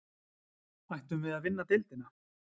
Ættum við að vinna deildina?